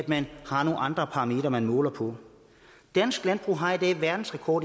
man har nogle andre parametre som man måler på dansk landbrug har i dag verdensrekord